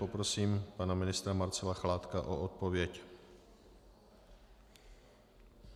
Poprosím pana ministra Marcela Chládka o odpověď.